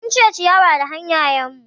Mun cire ciyawa da hanayen mu